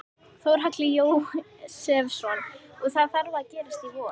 Þórhallur Jósefsson: Og það þarf að gerast í vor?